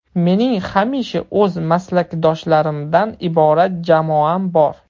Mening hamisha o‘z maslakdoshlarimdan iborat jamoam bor.